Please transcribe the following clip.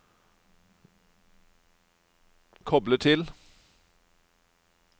koble til